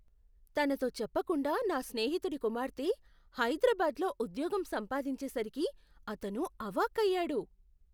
తనతో చెప్పకుండా నా స్నేహితుడి కుమార్తె హైద్రాబాదులో ఉద్యోగం సంపాదించేసరికి, అతను అవాక్కయ్యాడు.